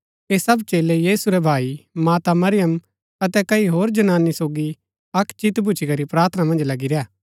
ऐह सब चेलै यीशु रै भाई माता अतै कई होर जनानी सोगी अक्क चित भूच्ची करी प्रार्थना मन्ज लगी रैह